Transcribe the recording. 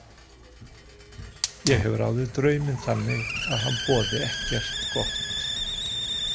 Ég hef ráðið drauminn þannig að hann boði ekkert gott.